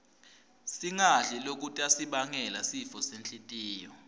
singadli lokutasibangela sifo senhltiyo